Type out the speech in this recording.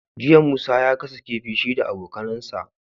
Jiya musa ya gasa kifi shi da abokAnan sa